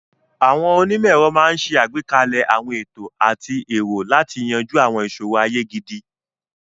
Àwọn onímọ̀-ẹ̀rọ máa ń ṣe àgbékalẹ̀ àwọn ètò àti ẹ̀rọ láti yanjú àwọn ìṣòro ayé gidi.